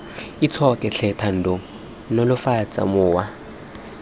itshoke tlhe thando nolofatsa mowa